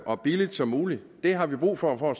og billigt som muligt det har vi brug for for